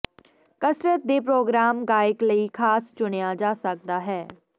ਕਸਰਤ ਦੇ ਪ੍ਰੋਗਰਾਮ ਗਾਇਕ ਲਈ ਖਾਸ ਚੁਣਿਆ ਜਾ ਸਕਦਾ ਹੈ